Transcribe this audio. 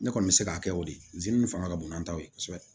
Ne kɔni bɛ se k'a kɛ o de ye nin fanga ka bon n'an ta ye kosɛbɛ